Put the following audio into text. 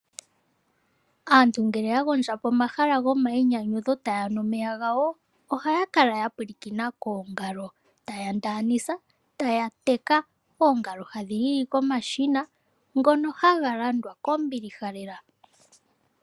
Aantu ngele ya gondja pomahala gomayinyanyudho taya nu omeya gawo ohaya kala yapulakena koongalo taya teka oongalo ohadhi lili komashina ngono haga landwa kombilih lela.